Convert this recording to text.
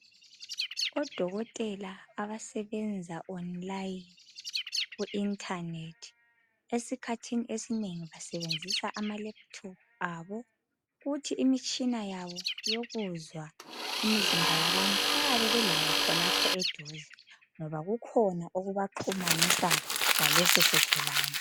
Odokotela abasebenza online ku internet, esikhathini esinengi basebenzisa amalaptop abo kuthi imitshina yabo yokuzwa imizimba yabantu bayabe belayo khonapho eduze ngoba kukhona okubaxhumanisa lalesisigulani.